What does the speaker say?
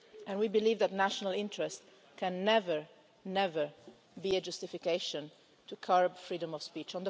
We believe that national interest can never be a justification for curbing freedom of speech.